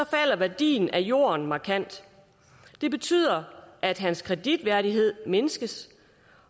falder værdien af jorden markant det betyder at hans kreditværdighed mindskes